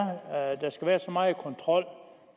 der skal være så meget kontrol